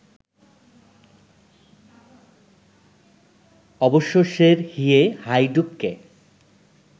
অবশ্য সেরহিয়ে হায়ডুককে